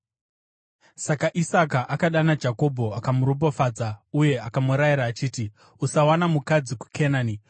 Saka Isaka akadana Jakobho akamuropafadza uye akamurayira achiti, “Usawana mukadzi muKenani.